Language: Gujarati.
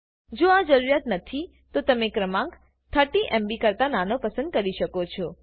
જો આ જરૂરિયાત નથી તો તમે ક્રમાંક 30MBકરતા નાનો પસંદ પસંદ કરી શકો છે ઉદા